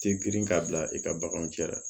Te girin k'a bila i ka baganw cɛ la